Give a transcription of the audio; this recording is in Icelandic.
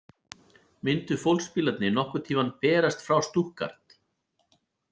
Myndu fólksbílarnir nokkurn tímann berast frá Stuttgart?